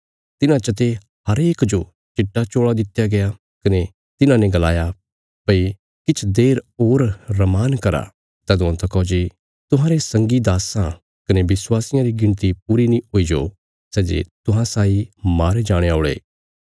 तिन्हां चते हरेक जो चिट्टा चोल़ा दित्या गया कने तिन्हांने गलाया भई किछ देर होर रमान करा तदुआं तका जे तुहांरे संगी दास्सां कने विश्वासियां री गिणती पूरी नीं हुई जाओ सै जे तुहां साई मारे जाणे औल़े